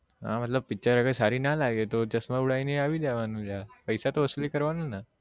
હા મતલબ picture અગર સારી ના લાગે તો ચશ્માં ઉડાઈ ને આવી જવાનું ને યાર પૈસા તો વસુલી કરવાનું ને